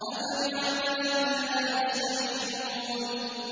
أَفَبِعَذَابِنَا يَسْتَعْجِلُونَ